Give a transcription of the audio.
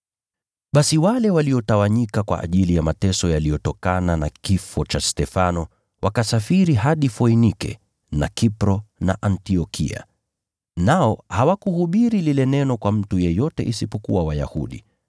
Basi wale waliotawanyika kwa ajili ya mateso yaliyotokana na kifo cha Stefano, wakasafiri hadi Foinike na Kipro na Antiokia. Nao hawakuhubiri lile Neno kwa mtu yeyote isipokuwa Wayahudi.